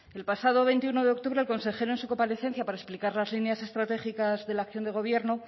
el pasado veintiuno de octubre el consejero en su comparecencia para explicar las líneas estratégicas de la acción de gobierno